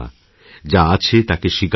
যা আছে তাকে স্বীকার করুন